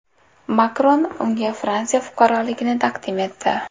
Makron unga Fransiya fuqaroligini taqdim etdi .